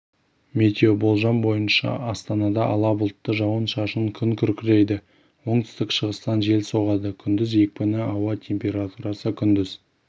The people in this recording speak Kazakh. метеоболжам бойынша астанада ала бұлтты жауын-шашын күн күркірейді оңтүстік-шығыстан жел соғады күндіз екпіні ауа температурасы күндіз